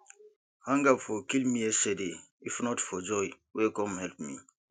hunger for kill me yesterday if not for joy wey come help me